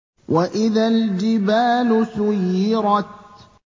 وَإِذَا الْجِبَالُ سُيِّرَتْ